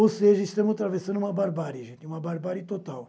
Ou seja, estamos atravessando uma barbárie, gente, uma barbárie total.